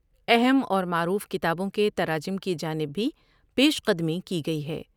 اہم اور معروف کتابوں کے تراجم کی جانب بھی پیش قدمی کی گٮٔی ہے۔